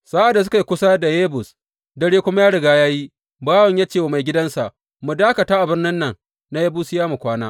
Sa’ad da suka yi kusa da Yebus dare kuma ya riga ya yi, bawan ya ce wa maigidansa, Mu dakata a birnin nan na Yebusiyawa mu kwana.